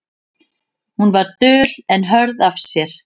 Hún var dul en hörð af sér.